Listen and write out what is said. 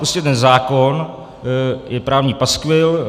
Prostě ten zákon je právní paskvil.